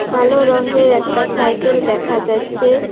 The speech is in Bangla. কালো রঙ্গের একটা সাইকেল দেখা যাচ্ছে।